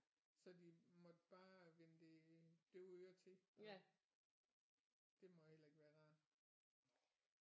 Så de måtte bare vende det døve øre til og det må heller ikke være rart